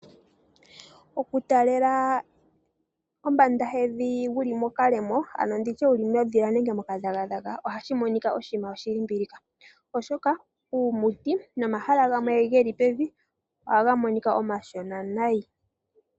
Okutalela kombanda yevi wu li mokalemo ano wu li mondhila nenge mokadhagadhaga ohashi monika oshinima shilimbilika ,oshoka omiti nomahala gamwe ge li pevi ohaga monika omashona nayi.